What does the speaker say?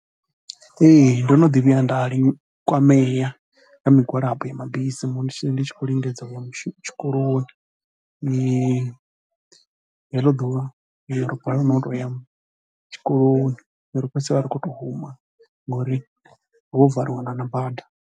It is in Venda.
Ee ndo no ḓi vhuya nda kwamea nga migwalabo ya mabisi musi ndi tshi khou lingedza u ya mushumo, tshikoloni heḽo ḓuvha ro balelwa no tou ya tshikoloni ro fhedzisela ri khou tou huma ngori ho valiwa na na bada.